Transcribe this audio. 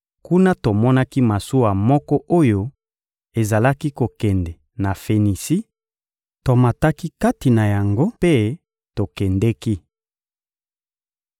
Kuna, tomonaki masuwa moko oyo ezalaki kokende na Fenisi; tomataki kati na yango mpe tokendeki.